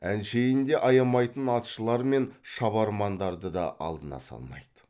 әншейінде аямайтын атшылар мен шабармандарды да алдына салмайды